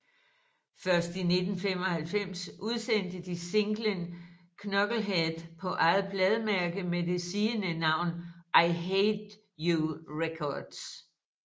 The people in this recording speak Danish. Først i 1995 udsendte de singlen Knucklehead på eget plademærke med det sigende navn I Hate You Records